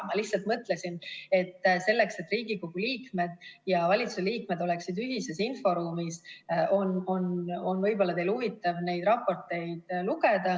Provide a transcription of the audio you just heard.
Ma lihtsalt mõtlesin, et selleks, et Riigikogu liikmed ja valitsuse liikmed oleksid ühises inforuumis, on võib-olla teil huvitav neid raporteid lugeda.